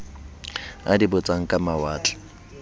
a di botsang ka lewatle